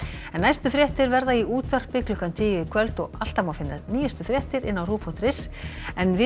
næstu fréttir verða í útvarpi klukkan tíu í kvöld og alltaf má finna nýjustu fréttir inni á rúv punktur is en við